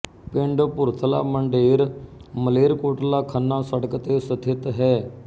ਪਿੰਡ ਭੁਰਥਲਾ ਮੰਡੇਰ ਮਾਲੇਰਕੋਟਲਾਖੰਨਾ ਸੜਕ ਤੇ ਸਥਿਤ ਹੈ